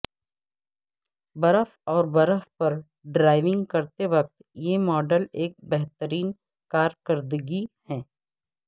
برف اور برف پر ڈرائیونگ کرتے وقت یہ ماڈل ایک بہترین کارکردگی ہے